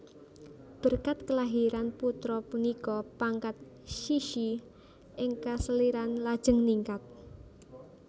Berkat kelahiran putra punika pangkat Cixi ing keseliran lajeng ningkat